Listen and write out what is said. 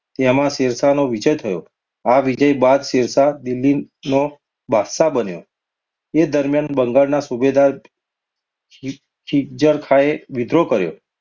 તેમાં શેરશાહનો વિજય થયો. આ વિજય બાદ શેરશાહ દિલ્હીનો બાદશાહ બન્યો. એ દરમિયાન બંગાળના સૂબેદાર ખી ખિઝરખાઁએ વિદ્રોહ કર્યો.